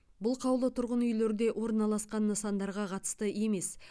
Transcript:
бұл қаулы тұрғын үйлерде орналасқан нысандарға қатысты емес